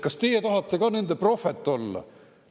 Kas teie tahate ka nende prohvet olla?